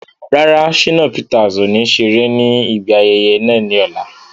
Rárá, Shínà Peters ọ̀ ní ṣeré ní ibi ayẹyẹ náà ní ọ̀la